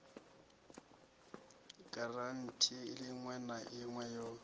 giranthi iṋwe na iṋwe yo